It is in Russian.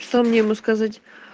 что мне ему сказать